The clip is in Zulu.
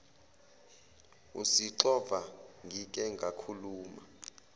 usixova ngike ngakhuluma